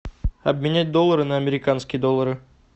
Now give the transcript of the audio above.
обменять доллары на американские доллары